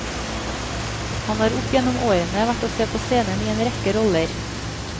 Han har opp gjennom årene vært å se på scenen i en rekke roller.